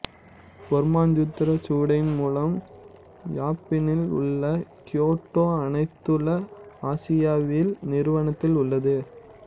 வர்மசூத்திரச் சுவடியின் மூலம் யப்பானில் உள்ள கியோட்டோ அனைத்துலக ஆசியவியல் நிறுவனத்தில் உள்ளது